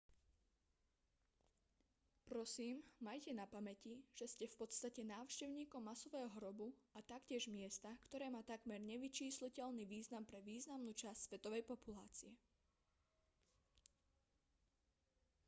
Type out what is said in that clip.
prosím majte na pamäti že ste v podstate návštevníkom masového hrobu a taktiež miesta ktoré má takmer nevyčísliteľný význam pre významnú časť svetovej populácie